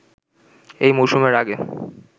এই মৌসুমের আগে